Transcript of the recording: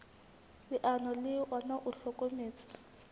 leano le ona o hlokometse